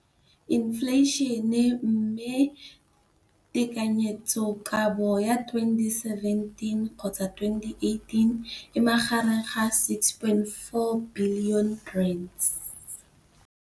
Infleišene, mme tekanyetsokabo ya 2017, 18, e magareng ga R6.4 bilione.